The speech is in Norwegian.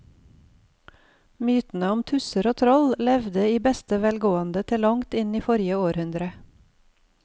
Mytene om tusser og troll levde i beste velgående til langt inn i forrige århundre.